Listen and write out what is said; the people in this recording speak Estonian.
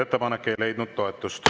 Ettepanek ei leidnud toetust.